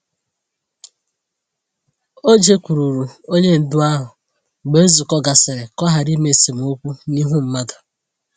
O jekwuuru onye ndu ahụ mgbe nzukọ gasịrị ka ọ ghara ime esemokwu n'ihu mmadụ.